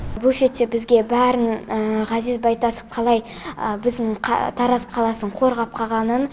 буфетте бізге бәрін ғазиз байтасов қалай біздің тараз қаласын қорғап қалғанын